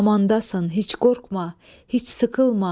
Amandasan, heç qorxma, heç sıxılma.